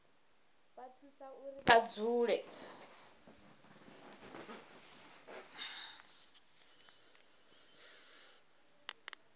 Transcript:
vha thusa uri vha dzule